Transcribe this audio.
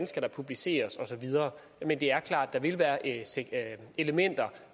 skal publiceres og så videre men det er klart at der vil være elementer